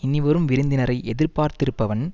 இனிவரும் விருந்தினரை எதிர் பார்த்திருப்பவன்